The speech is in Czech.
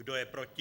Kdo je proti?